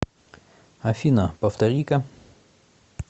афина повтори ка